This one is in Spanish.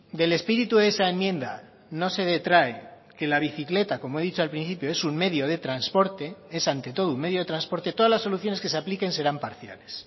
del espíritu de esa enmienda no se detrae que la bicicleta como he dicho al principio es un medio de transporte es ante todo un medio de transporte todas las soluciones que se apliquen serán parciales